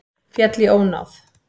Féll í ónáð